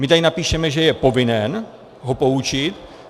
My tady napíšeme, že je povinen ho poučit.